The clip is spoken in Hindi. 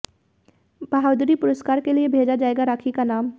बहादुरी पुरस्कार के लिए भेजा जाएगा राखी का नाम